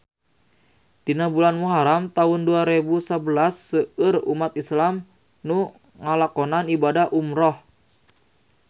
Dina bulan Muharam taun dua rebu sabelas seueur umat islam nu ngalakonan ibadah umrah